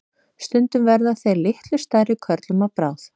stundum verða þeir litlu stærri körlum að bráð